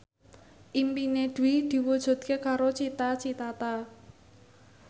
impine Dwi diwujudke karo Cita Citata